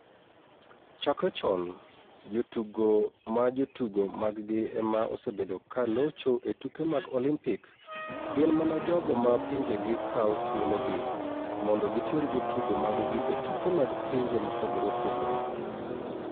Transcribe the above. "Chakre chon, jotugo ma jotugo maggi e ma osebedo ka locho e tuke mag Olimpik, gin mana jogo ma pinjegi kawo thuologi mondo giter jotugo maggi e tuke mag pinje mopogore opogore.